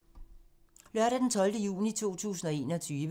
Lørdag d. 12. juni 2021